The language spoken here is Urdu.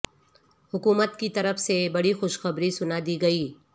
حکو مت کی طر ف سے بڑی خو شخبری سنا دی گئی